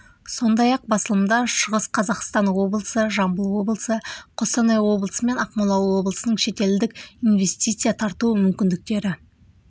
сондай-ақ басылымда шығыс қазақстан облысы жамбыл облысы қостанай облысы мен ақмола облысының шетелдік инвестиция тарту мүмкіндіктері